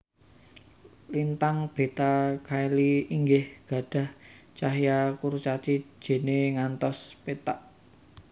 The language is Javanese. Lintang Beta Caeli inggih gadhah cahya kurcaci jene ngantos pethak